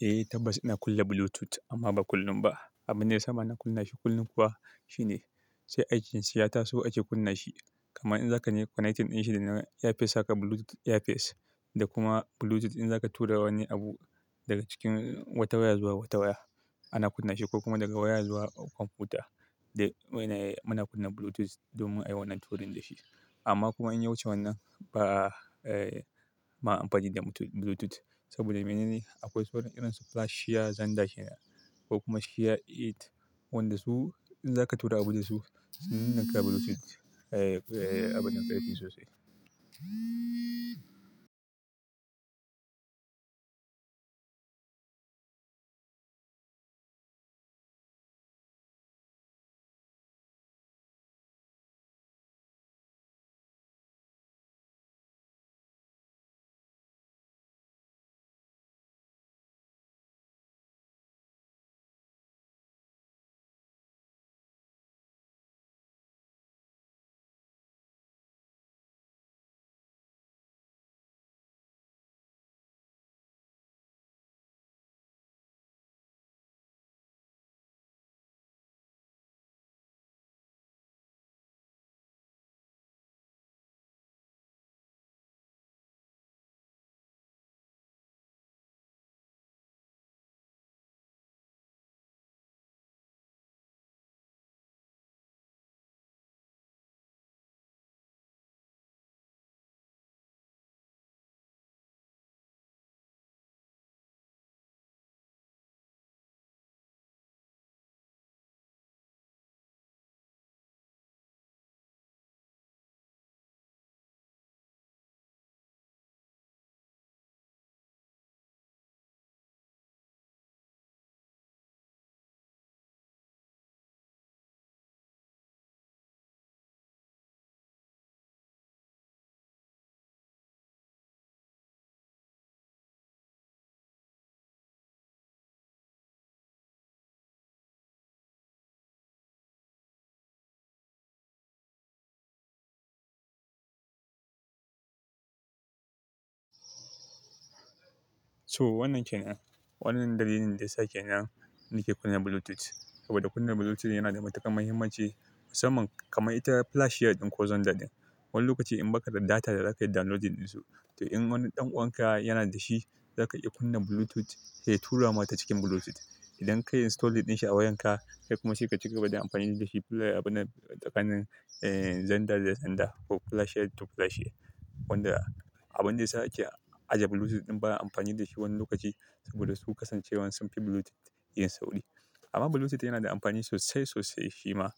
Eh, Tabbas ina kunna Bluetooth amma ba kullum ba. Abin da ya sa ma na kunna shi kullum kuwa shine sai aikin shi ya taso ake kunna shi. Kamar in za ka yi connecting ɗin shi da na earpiece haka bluetooth earpiece da kuma bluetooth in za ka tura wani abu daga cikin wata waya zuwa wata waya ana kunna shi ko kuma daga waya zuwa kwamfuta. Da wai na muna kunna Bluetooth domin a yi wannan turin da shi. Amma kuma in ya wuce wannan bama amfani da bluetooth saboda mene ne? Akwai sauran irin su FlashShare Zenda kenan ko kuma ShareIt wanda su in za ka tura abu da su sai ka kunna Bluetooth. Eh, abin dan ya yi sosai. To wannan ke nan. Wannan dalilin da ya sa ke nan nake kunna Bluetooth. Saboda kunna Bluetooth yana da matuƙar mahimmanci musamman kamar ita FlashShare ɗin ko Zenda ɗin. Wani lokaci in ba ka da data da za ka yi downloading ɗin su, to in wani ɗan uwanka yana da shi za ka iya kunna Bluetooth ya tura ma ta cikin Bluetooth. Idan ka yi installing ɗin shi a wayarka kai kuma shi ka cika ba da amfani da shi. Play abuna tsakanin, eh, Zenda da Zenda ko FlashShare to FlashShare. Wanda abin da ya sa ake aje Bluetooth in ba a amfani da shi wani lokaci saboda su kasancewan sun fi Bluetooth yin sauri. Amma Bluetooth yana da amfani sosai sosai shi ma,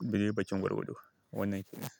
daidai bakin gwargwado wannan ke nan.